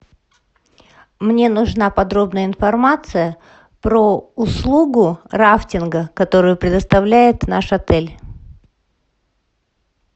мне нужна подробная информация про услугу рафтинга которую предоставляет наш отель